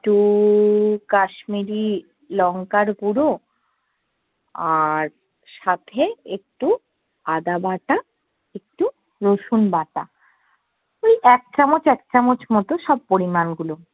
একটু কাশ্মীরি লঙ্কার গুরু, আর সাথে একটু আদাবাটা, একটু রসুন বাটা ওই এক চামচ এক চামচ মতো সব পরিমাণ গুলো